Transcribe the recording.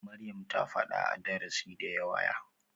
Maryam ta faɗa a darasi da yawa.